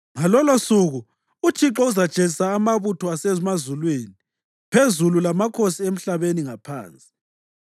Ngalolosuku uThixo uzajezisa amabutho asemazulwini phezulu lamakhosi emhlabeni ngaphansi.